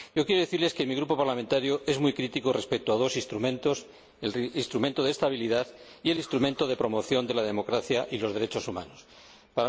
Yo quiero decirles que mi grupo parlamentario es muy crítico respecto a dos instrumentos el Instrumento de Estabilidad y el Instrumento de promoción de la democracia y de los derechos humanos a escala mundial.